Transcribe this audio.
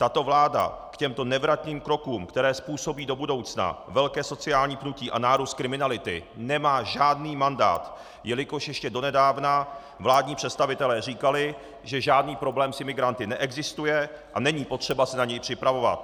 Tato vláda k těmto nevratným krokům, které způsobí do budoucna velké sociální pnutí a nárůst kriminality, nemá žádný mandát, jelikož ještě donedávna vládní představitelé říkali, že žádný problém s imigranty neexistuje a není potřeba se na něj připravovat.